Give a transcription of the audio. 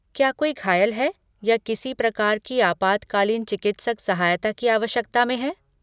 क्या कोई घायल है या किसी प्रकार की आपातकालीन चिकित्सक सहायता की आवश्यकता में है?